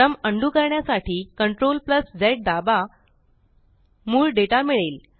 क्रम अंडू करण्यासाठी CTRLZ दाबा मूळ डेटा मिळेल